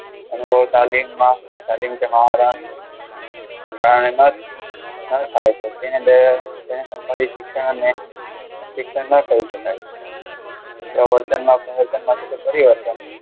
અનુભવ તાલીમમાં શિક્ષણ એટલે શિક્ષણ ના કહી શકાય. હવે વર્તન એટલે વર્તન થતો પરિવર્તન.